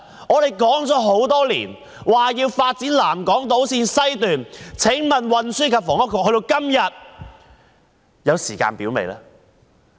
我們多年來一直要求發展南港島綫，請問運輸及房屋局今天有時間表了嗎？